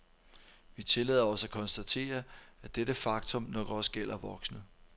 Vi tillader os at konstatere, at dette faktum nok også gælder voksne.